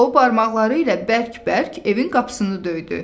O, barmaqları ilə bərk-bərk evin qapısını döydü.